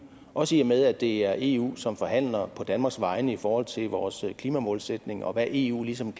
også i og med at det er eu som forhandler på danmarks vegne i forhold til vores klimamålsætning og hvad eu ligesom